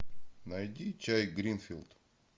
найди чай гринфилд